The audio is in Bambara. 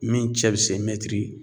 Min cɛ bi se mɛtiri